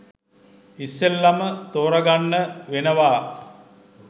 ඉස්සෙල්ලම ‍තෝරගන්න වෙනවා.